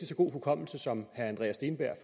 så god hukommelse som herre andreas steenberg